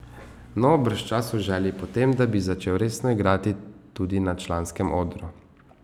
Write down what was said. No, bržčas v želji po tem, da bi začel resno igrati tudi na članskem odru.